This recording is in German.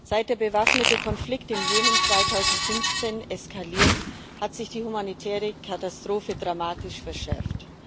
Seit der bewaffnete Konflikt im Jemen 2015 eskaliert, hat sich die humanitäre Katastrophe dramatisch verschärft.